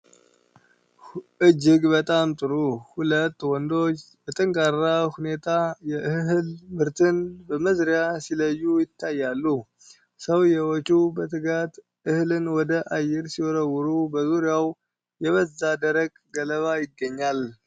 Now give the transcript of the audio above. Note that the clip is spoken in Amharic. እጅግ በጣም ጥሩ! ሁለት ወንዶች በጠንካራ ሁኔታ የእህል ምርትንን በመዝሪያ ሲለዩ ይታያሉ። ሰውዬዎቹ በትጋት እህልን ወደ አየር ሲወረውሩ፣ በዙሪያው የበዛ ደረቅ ገለባ ይገኛል።